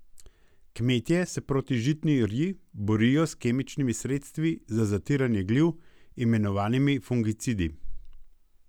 Kmetje se proti žitni rji borijo s kemičnimi sredstvi za zatiranje gliv, imenovanimi fungicidi.